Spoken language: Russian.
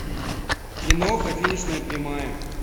киноха финишная прямая